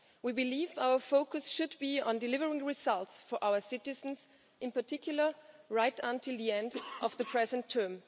We believe our focus should be on delivering results for our citizens, in particular, right until the end of the present term.